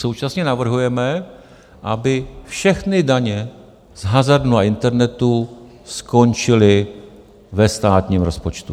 Současně navrhujeme, aby všechny daně z hazardu na internetu skončily ve státním rozpočtu.